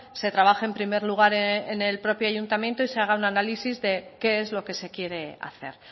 se trabaje en primer lugar en el propio ayuntamiento y se haga un análisis de qué es lo que se quiere hacer